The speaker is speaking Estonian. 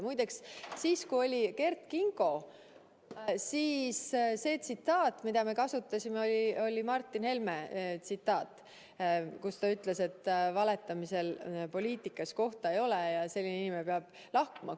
Muideks siis, kui Kert Kingo, siis see tsitaat, mida me kasutasime, oli Martin Helme tsitaat, kus ta ütles, et valetamisel poliitikas kohta ei ole ja selline inimene peab lahkuma.